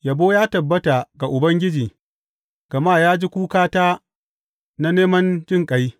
Yabo ya tabbata ga Ubangiji, gama ya ji kukata na neman jinƙai.